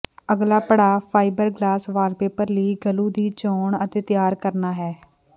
ਅਗਲਾ ਪੜਾਅ fibreglass wallpaper ਲਈ ਗਲੂ ਦੀ ਚੋਣ ਅਤੇ ਤਿਆਰ ਕਰਨਾ ਹੈ